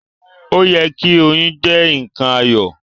O yẹ ki oyún jẹ nkan ayọ̀.